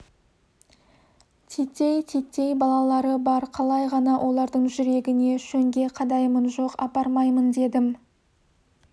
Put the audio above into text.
титтей-титтей балалары бар қалай ғана олардың жүрегіне шөңге қадаймын жоқ апармаймын дедім